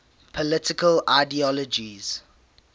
political ideologies